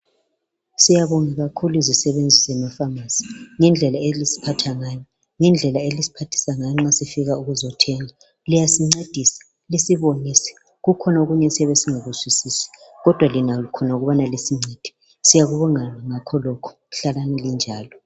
Siyabonga kakhulu imisebenzi zemafamasi ngendlela eliziphatha ngayo. Ngendlela elisiphathisa ngayo nxa sibuya ukuzothenga. Liyasincedisa lisibonise kukhona. okunye esiya singakuzwisisi kodwa lina likhona ukubana lisincedise. Siyalibonga ngakholokhu. Halalani linjalo.